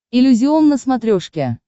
иллюзион на смотрешке